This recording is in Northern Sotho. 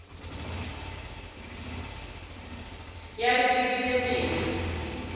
ya re ke bete pelo